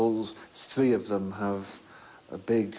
sú bók